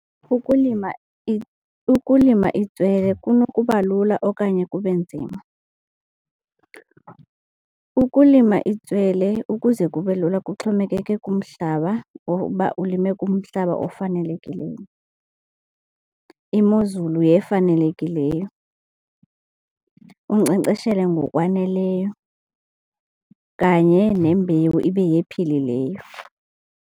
Ukulima ukulima itswele kunokuba lula okanye kube nzima. Ukulima itswele ukuze kube lula kuxhomekeke kumhlaba or uba ulime kumhlaba ofanelekileyo, imozulu yefanelekileyo, unkcenkceshele ngokwaneleyo kanye nembewu ibe yephilileyo.